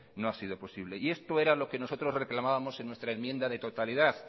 no ha sido posible esto era lo que nosotros reclamábamos en nuestra enmienda de totalidad